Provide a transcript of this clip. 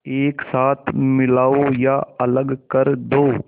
एक साथ मिलाओ या अलग कर दो